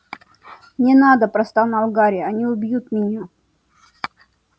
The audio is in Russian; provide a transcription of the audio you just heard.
не надо простонал гарри они убьют меня